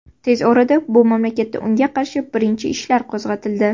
Tez orada bu mamlakatda unga qarshi birinchi ishlar qo‘zg‘atildi.